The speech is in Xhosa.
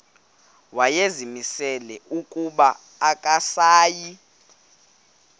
wayezimisele ukuba akasayi